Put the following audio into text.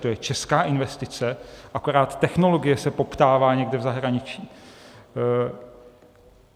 To je česká investice, akorát technologie se poptává někde v zahraničí.